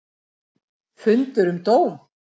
Fundur um dóm